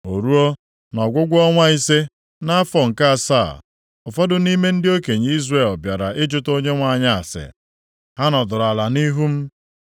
O ruo, nʼọgwụgwụ ọnwa ise, nʼafọ nke asaa, ụfọdụ nʼime ndị okenye Izrel bịara ịjụta Onyenwe anyị ase. Ha nọdụrụ ala nʼihu m.